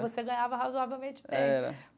Você ganhava razoavelmente bem. É.